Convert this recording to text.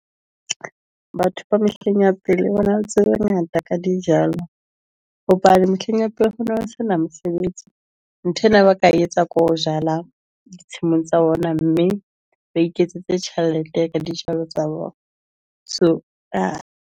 Batho ba mehleng ya pele wena o tsebe ngata ka dijalo hobane mehleng ya pele ho no sena mesebetsi. Nthwena ba ka e etsa ko jala ditshimong tsa bona, mme ba iketsetse tjhelete ka dijalo tsa bona. So .